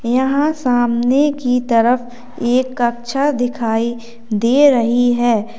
यहां सामने की तरफ एक कक्षा दिखाई दे रही है।